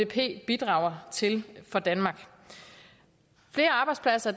bidrager til for danmark flere arbejdspladser